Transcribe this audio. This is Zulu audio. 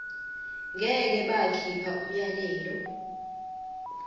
ngeke bakhipha umyalelo